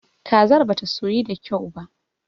Kazar bata soyu da kyau ba.